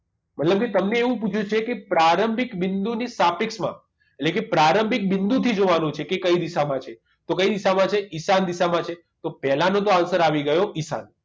મતલબ કે તમને એવું પૂછ્યું છે કે પ્રારંભિક બિંદુ ની સાપેક્ષમાં એટલે કે પ્રારંભિક બિંદુથી જોવાનું છે કે કઈ દિશામાં છે તો કઈ દિશામાં છે ઈશાન દિશામાં છે તો પહેલા નો તો answer આવી ગયો ઈશાન